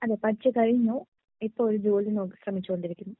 അതേ പഠിച്ചു കഴിഞ്ഞു ഇപ്പോ ഒരു ജോലി നോക്കി ശ്രേമിച്ചു കൊണ്ടിരിക്കുന്നു .